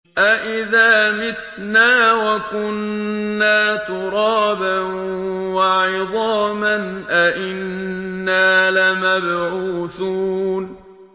أَإِذَا مِتْنَا وَكُنَّا تُرَابًا وَعِظَامًا أَإِنَّا لَمَبْعُوثُونَ